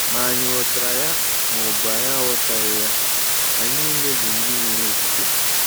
Ma ànyị ghọtara ya ma ọ bụ na anyị aghọtaghị ya, anyị nile bụ ndị nwere okwukwe.